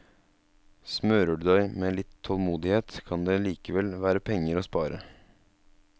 Smører du deg med litt tålmodighet, kan det likevel være penger å spare.